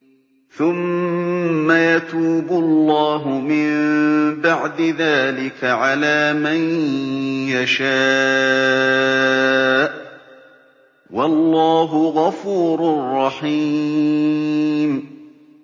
ثُمَّ يَتُوبُ اللَّهُ مِن بَعْدِ ذَٰلِكَ عَلَىٰ مَن يَشَاءُ ۗ وَاللَّهُ غَفُورٌ رَّحِيمٌ